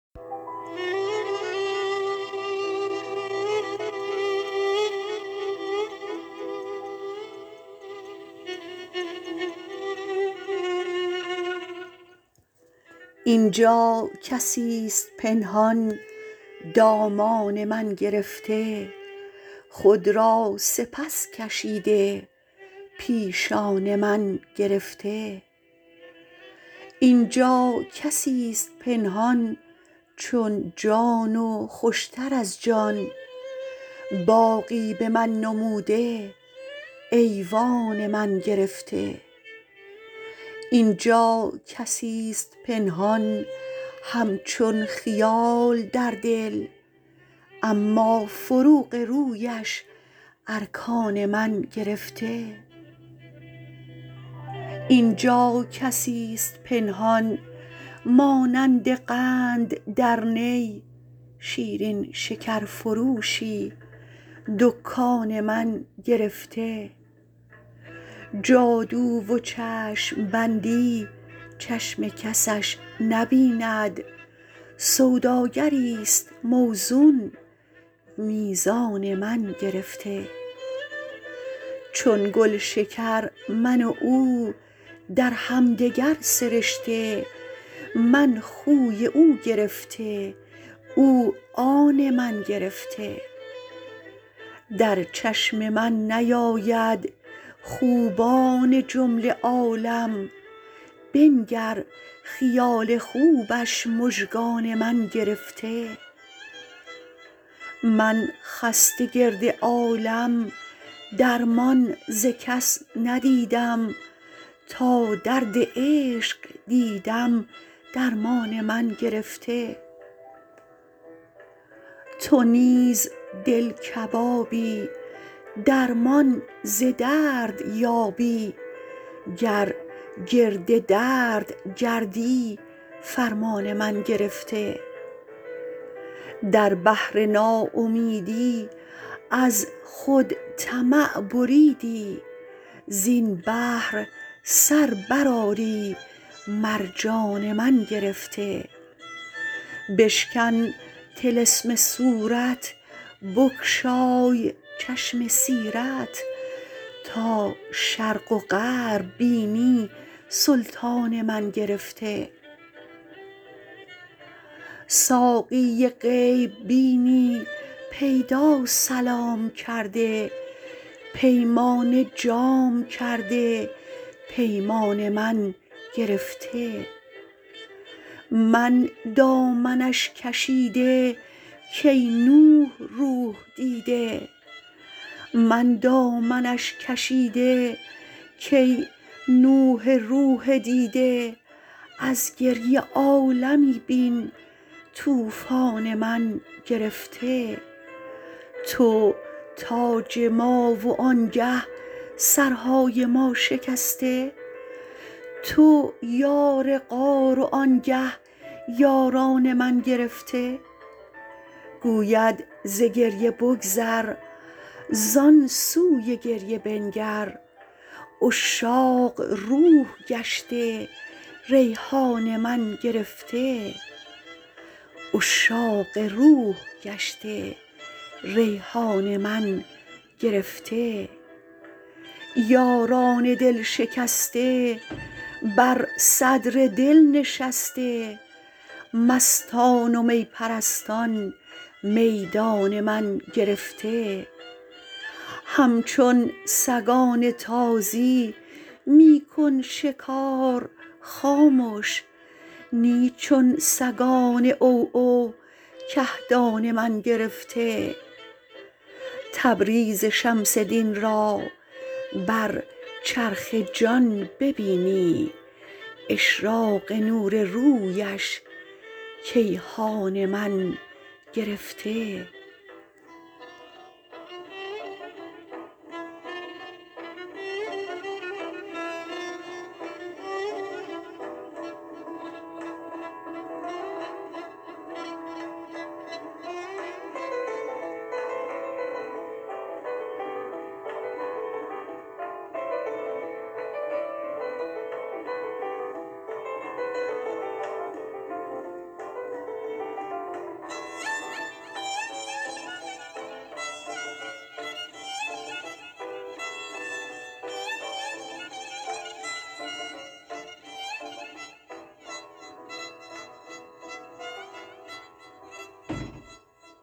این جا کسی ست پنهان دامان من گرفته خود را سپس کشیده پیشان من گرفته این جا کسی ست پنهان چون جان و خوش تر از جان باغی به من نموده ایوان من گرفته این جا کسی ست پنهان همچون خیال در دل اما فروغ رویش ارکان من گرفته این جا کسی ست پنهان مانند قند در نی شیرین شکرفروشی دکان من گرفته جادو و چشم بندی چشم کسش نبیند سوداگری ست موزون میزان من گرفته چون گل شکر من و او در هم دگر سرشته من خوی او گرفته او آن من گرفته در چشم من نیاید خوبان جمله عالم بنگر خیال خوبش مژگان من گرفته من خسته گرد عالم درمان ز کس ندیدم تا درد عشق دیدم درمان من گرفته تو نیز دل کبابی درمان ز درد یابی گر گرد درد گردی فرمان من گرفته در بحر ناامیدی از خود طمع بریدی زین بحر سر برآری مرجان من گرفته بشکن طلسم صورت بگشای چشم سیرت تا شرق و غرب بینی سلطان من گرفته ساقی غیب بینی پیدا سلام کرده پیمانه جام کرده پیمان من گرفته من دامنش کشیده کای نوح روح دیده از گریه عالمی بین طوفان من گرفته تو تاج ما و آنگه سرهای ما شکسته تو یار غار و آنگه یاران من گرفته گوید ز گریه بگذر زان سوی گریه بنگر عشاق روح گشته ریحان من گرفته یاران دل شکسته بر صدر دل نشسته مستان و می پرستان میدان من گرفته همچو سگان تازی می کن شکار خامش نی چون سگان عوعو کهدان من گرفته تبریز شمس دین را بر چرخ جان ببینی اشراق نور رویش کیهان من گرفته